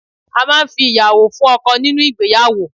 A máà ń fi ìyàwó fún ọkọ nínú ìgbéyàwó